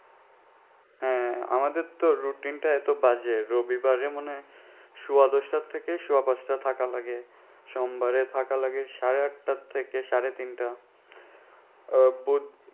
হ্যাঁ আমাদের তো routine টা এত বাজে রবিবারে মনে হয় সুয়া দশটা থেকে সুয়া পাঁচটা থাকা লাগে সোমবারে থাকা লাগে সাড়ে আটটা থেকে সাড়ে তিনটা